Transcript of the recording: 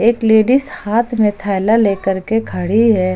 एक लेडिस हाथ में थैला लेकर के खड़ी है।